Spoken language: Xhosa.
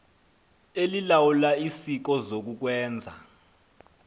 elilawula isikolo zokukwenza